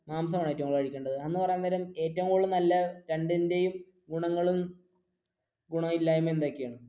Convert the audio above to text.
മാംസമാണോ ഏറ്റവും കൂടുതൽ കഴിക്കേണ്ടത് എന്ന് പറയാൻ നേരം ഏറ്റവും കൂടുതൽ നല്ല രണ്ടിന്റെയും ഗുണങ്ങളും ഗുണമില്ലായ്മ എന്തൊക്കെയാണ്?